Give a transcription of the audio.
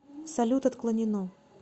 салют отклонено